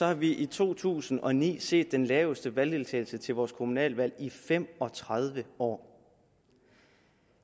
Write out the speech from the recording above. har vi i to tusind og ni set den laveste valgdeltagelse til vores kommunalvalg i fem og tredive år